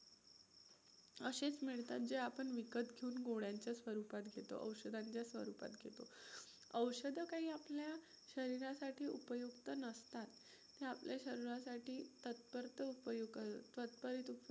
असेच मिळतात जे आपण विकत घेऊन गोळ्यांच्या स्वरूपात घेतो, औषधांच्या स्वरूपात घेतो. औषधं काही आपल्या शरीरसाठी उपयुक्त नसतात. हे आपल्या शरीरासाठी तात्पुरता